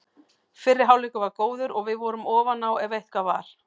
Fyrri hálfleikur var góður og við vorum ofan á ef eitthvað var.